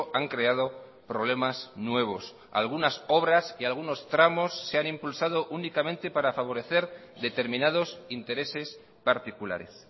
han creado problemas nuevos algunas obras y algunos tramos se han impulsado únicamente para favorecer determinados intereses particulares